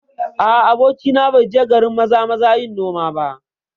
A'a, abokina bai je garin Maza-maza yin noma ba